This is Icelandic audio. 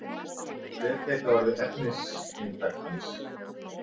Hvert gæti orðið efnisinntak hans